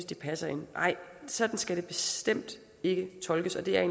de passer ind sådan skal det bestemt ikke tolkes og det er